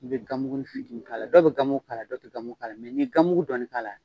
I bɛ gamugu fitinin k'ala dɔw bɛ gamugu kala, dɔ tɛ gamugu kala, ni ye gamugu dɔɔni k'ala.